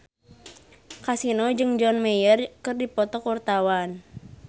Kasino jeung John Mayer keur dipoto ku wartawan